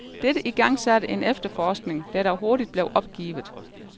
Dette igangsatte en efterforskning, der dog hurtigt blev opgivet.